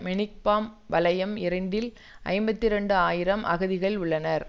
மெனிக்பார்ம் வலயம் இரண்டில் ஐம்பத்தி இரண்டு ஆயிரம் அகதிகள் உள்ளனர்